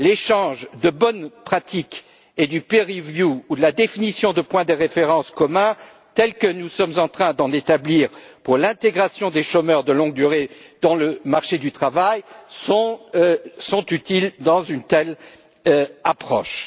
L'échange de bonnes pratiques et l'examen par les pairs, ou la définition de points de référence communs, tels que nous sommes en train d'en établir pour l'intégration des chômeurs de longue durée dans le marché du travail, sont utiles dans une telle approche.